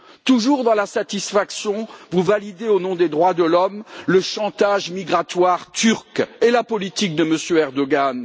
Toujours dans la satisfaction, vous validez, au nom des droits de l'homme, le chantage migratoire turc et la politique de M. Erdoǧan.